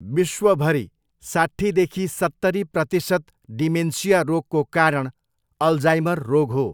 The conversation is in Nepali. विश्वभरि साट्ठीदेखि सत्तरी प्रतिसत डिमेन्सिया रोगको कारण अल्जाइमर रोग हो।